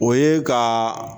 O ye ka